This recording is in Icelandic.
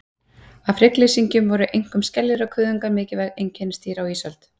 Af hryggleysingjum voru einkum skeljar og kuðungar mikilvæg einkennisdýr á ísöld.